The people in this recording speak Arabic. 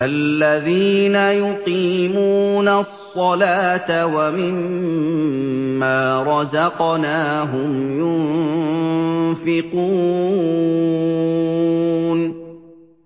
الَّذِينَ يُقِيمُونَ الصَّلَاةَ وَمِمَّا رَزَقْنَاهُمْ يُنفِقُونَ